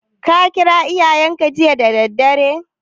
Ka kira iyayenka jiya da daddare?